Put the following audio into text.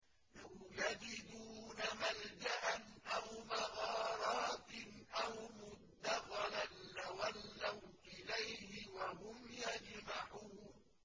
لَوْ يَجِدُونَ مَلْجَأً أَوْ مَغَارَاتٍ أَوْ مُدَّخَلًا لَّوَلَّوْا إِلَيْهِ وَهُمْ يَجْمَحُونَ